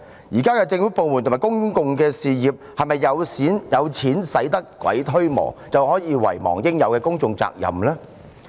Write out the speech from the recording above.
現在的政府部門和公用事業，是否以為"有錢使得鬼推磨"，於是便可以遺忘對公眾應負的責任？